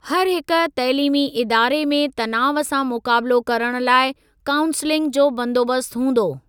हरहिक तइलीमी इदारे में तनाव सां मुक़ाबिलो करण लाइ काऊंसलिंग जो बंदोबस्त हूंदो।